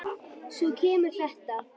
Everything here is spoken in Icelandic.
Svo kemur þetta